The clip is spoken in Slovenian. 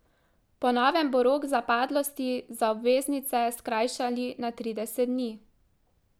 Po novem bo rok zapadlosti za obveznice skrajšali na trideset dni.